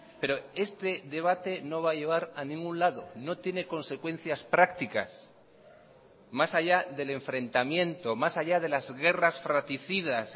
pero este debate no va a llevar a ningún lado no tiene consecuencias prácticas más allá del enfrentamiento más allá de las guerras fraticidas